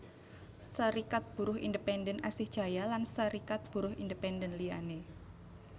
Serikat Buruh Independen Asih Jaya lan Serikat Buruh Independen liyané